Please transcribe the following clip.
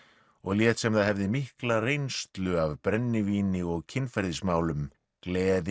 og lét sem það hefði mikla reynslu af brennivíni og kynferðismálum